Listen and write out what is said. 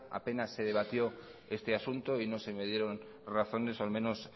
apenas se debatió este asunto y no se me dieron razones o al menos